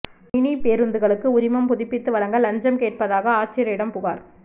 mini பேருந்துகளுக்கு உரிமம் புதுப்பித்து வழங்க லஞ்சம் கேட்பதாக ஆட்சியரிடம் புகாா்